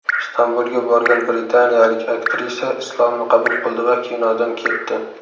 Istanbulga borgan britaniyalik aktrisa Islomni qabul qildi va kinodan ketdi.